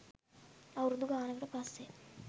අවුරුදු ගානකට පස්සෙත්